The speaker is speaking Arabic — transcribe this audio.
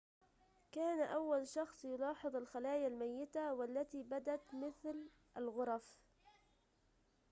كان أول شخص يلاحظ الخلايا الميتة والتي بدت مثل الغرف